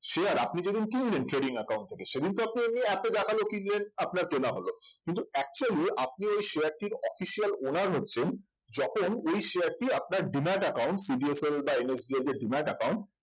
share আপনি যেদিন কিনলেন trading account থেকে সেই দিন তো আপনি এমনি app এ দেখাল কিনলেন আপনার কেনা হলো কিন্তু actually আপনি ওই share টির official owners হচ্ছেন যখন ওই share টি আপনার demat account CDSL বা NSDL যে demat account